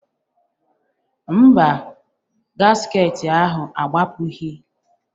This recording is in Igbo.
Mba, gasket ahụ agbapụghị